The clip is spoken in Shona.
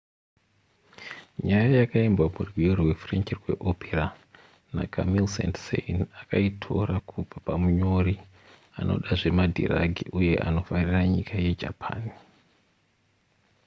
nyaya yakaimbwa murwiyo rwechifrench rweopera nacamille saint-saens akaitora kubva pamunyori anoda zvemadhiragi uye anofarira nyika yejapan